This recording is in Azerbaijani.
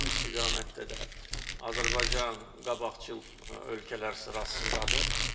Bu istiqamətdə də Azərbaycan qabaqcıl ölkələr sırasındadır.